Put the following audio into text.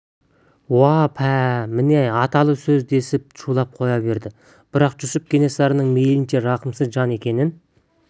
уа пәле міне аталы сөз десіп шулап қоя берді бірақ жүсіп кенесарының мейлінше рақымсыз жан екенін